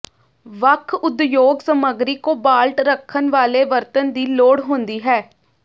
ਵੱਖ ਉਦਯੋਗ ਸਮੱਗਰੀ ਕੋਬਾਲਟ ਰੱਖਣ ਵਾਲੇ ਵਰਤਣ ਦੀ ਲੋੜ ਹੁੰਦੀ ਹੈ